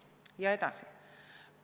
" Ja edasi: